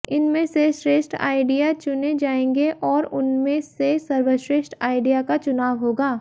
इनमें से श्रेष्ठ आइडिया चुने जाएंगे और उनमें से सर्वश्रेष्ठ आइडिया का चुनाव होगा